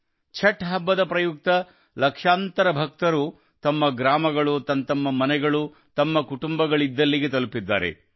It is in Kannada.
ಛಠ್ ಹಬ್ಬದ ಪ್ರಯುಕ್ತ ಲಕ್ಷಾಂತರ ಭಕ್ತರು ತಮ್ಮ ಗ್ರಾಮಗಳು ತಮ್ಮತಮ್ಮ ಮನೆಗಳು ತಮ್ಮ ಕುಟುಂಬಗಳಿದ್ದಲ್ಲಿಗೆ ತಲುಪಿದ್ದಾರೆ